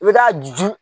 I bɛ taa ju